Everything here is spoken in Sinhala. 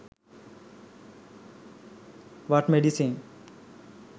what medicine